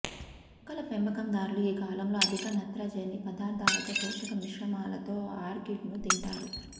మొక్కల పెంపకందారులు ఈ కాలంలో అధిక నత్రజని పదార్ధాలతో పోషక మిశ్రమాలతో ఆర్కిడ్ను తింటారు